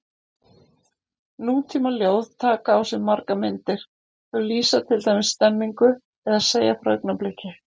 Nútímaljóð taka á sig margar myndir, þau lýsa til dæmis stemningu eða segja frá augnabliki.